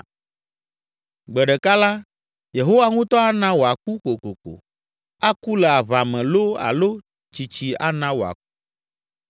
Gbe ɖeka la, Yehowa ŋutɔ ana wòaku kokoko, aku le aʋa me loo alo tsitsi ana wòaku.